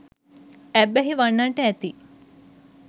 ඇබ්බැහි වන්නට ඇති.